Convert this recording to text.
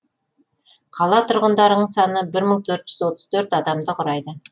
қала тұрғындарының саны бір мың төрт жүз отыз төрт адамды құрайды